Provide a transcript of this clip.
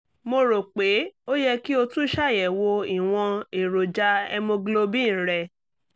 mo rò pé ó yẹ kí o tún ṣàyẹ̀wò ìwọ̀n èròjà hemoglobin rẹ